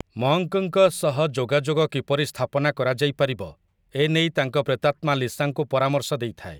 ମଙ୍କ୍‌ଙ୍କ ସହ ଯୋଗାଯୋଗ କିପରି ସ୍ଥାପନା କରାଯାଇପାରିବ, ଏ ନେଇ ତାଙ୍କ ପ୍ରେତାତ୍ମା ଲିସାଙ୍କୁ ପରାମର୍ଶ ଦେଇଥାଏ ।